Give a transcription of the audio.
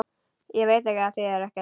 Veit að það þýðir ekkert.